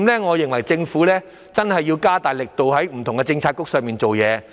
我認為政府真的要加大力度，在不同的政策範疇上做工夫。